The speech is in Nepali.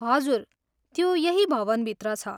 हजुर, त्यो यही भवनभित्र छ।